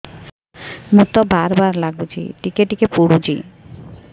ମୁତ ବାର୍ ବାର୍ ଲାଗୁଚି ଟିକେ ଟିକେ ପୁଡୁଚି